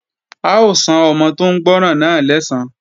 A ó san ọmọ tó ń gbọ́ràn náà lẹ́san